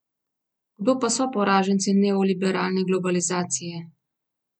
Kdo pa so poraženci neoliberalne globalizacije?